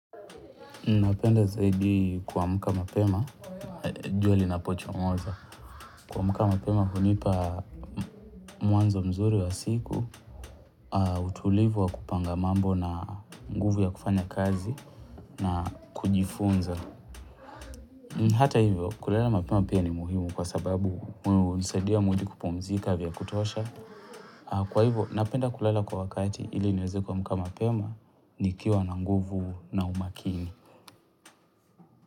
Napenda zaidi kuamka mapema, jua linapochomoza, kuamuka mapema hunipa mwanzo mzuri wa siku, utulivu wa kupanga mambo na nguvu ya kufanya kazi na kujifunza. Hata hivyo, kulala mapema pia ni muhimu kwa sababu hunisadia mwili kupumzika vya kutosha. Kwa hivyo, napenda kulala kwa wakati ili niweze kuamuka mapema, nikiwa na nguvu na umakini.